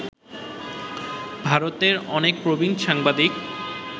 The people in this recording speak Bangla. ভারতের অনেক প্রবীণ সাংবাদিক